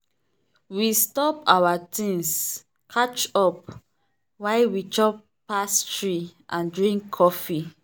we stop our tings catch up while we chop pastry and drink coffee.